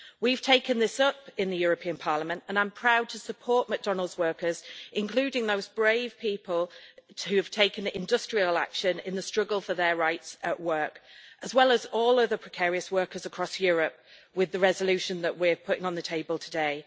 We have taken this up in Parliament, and I'm proud to support McDonald's workers including those brave people who have taken industrial action in the struggle for their rights at work as well as all the other precarious workers across Europe with the resolution that we're putting on the table today.